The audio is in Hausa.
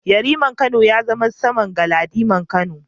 Yariman Kano ya zama saman Galadiman Kano.